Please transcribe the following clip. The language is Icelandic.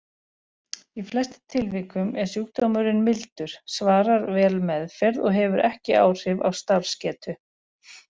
Í flestum tilvikum er sjúkdómurinn mildur, svarar vel meðferð og hefur ekki áhrif á starfsgetu.